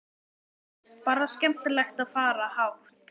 Hrund: Bara skemmtilegt að fara hátt?